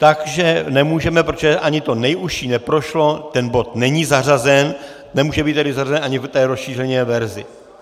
Takže nemůžeme, protože ani to nejužší neprošlo, ten bod není zařazen, nemůže být tedy zařazen ani v té rozšířené verzi.